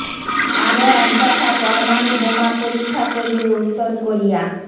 আরও এক দফা পরমাণু বোমা পরীক্ষা করবে উত্তর কোরিয়া